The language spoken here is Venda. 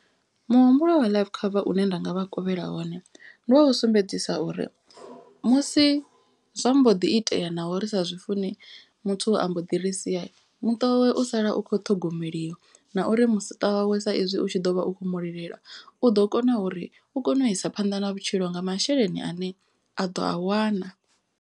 Muhumbulo wa life cover une nda nga vha kovhela wone. Ndi wa u sumbedzisa uri musi zwa mbo ḓi itea naho ri sa zwi funi muthu a mbo ḓi ri sia muṱa wawe u sala u kho ṱhogomeliwa. Na uri muṱa wawe sa izwi u tshi ḓo vha u kho mu lilela. U ḓo kona uri u kone u isa phanḓa na vhutshilo nga masheleni ane a ḓo a wana.